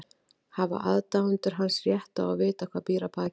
Hafa aðdáendur hans rétt á að vita hvað býr að baki?